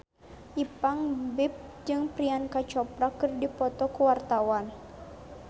Ipank BIP jeung Priyanka Chopra keur dipoto ku wartawan